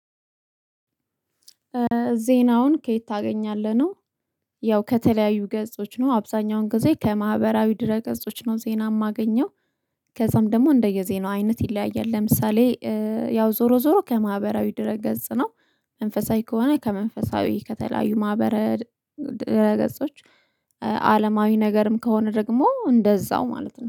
ዜናውን ከየት ታገኛለህ? ነው ያው ከተለያዩ ገጾች ነው። አብዛኛውን ጊዜ ከማህበራዊ ድረ ገጾች ነው ዜና የማገኘው። ከዛም ደግሞ እንደየዜናው አይነት ይለያያል። ለምሳሌ ያው ዞሮ ዞሮ ከማህበራዊ ድረ ገጽ ነው። መንፈሳዊ ከሆነ ከመንፈሳዊ ከተለያዩ ማህበራዊ ድረገጾች አለማዊ ነገርም ከሆነ ደግሞ እንደዛው ማለት ነው